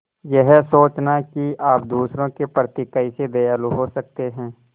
यह सोचना कि आप दूसरों के प्रति कैसे दयालु हो सकते हैं